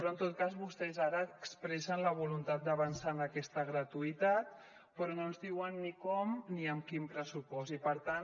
en tot cas vostès ara expressen la voluntat d’avançar en aquesta gratuïtat però no ens diuen ni com ni amb quin pressupost i per tant